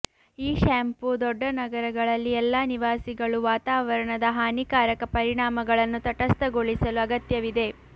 ಈ ಶಾಂಪೂ ದೊಡ್ಡ ನಗರಗಳಲ್ಲಿ ಎಲ್ಲಾ ನಿವಾಸಿಗಳು ವಾತಾವರಣದ ಹಾನಿಕಾರಕ ಪರಿಣಾಮಗಳನ್ನು ತಟಸ್ಥಗೊಳಿಸಲು ಅಗತ್ಯವಿದೆ